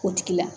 O tigila